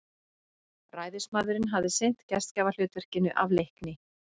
Ræðismaðurinn hafði sinnt gestgjafahlutverkinu af leikni.